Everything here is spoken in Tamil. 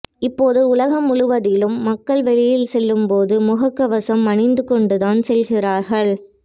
இப்போது உலகம் முழுவதிலும் மக்கள் வெளியில் செல்லும்போது முகக் கவசம் அணிந்துகொண்டுதான் செல்கிறார்கள்